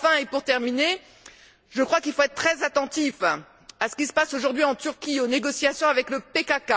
Pour terminer, je crois qu'il faut être très attentifs à ce qui se passe, aujourd'hui, en Turquie, aux négociations avec le PKK.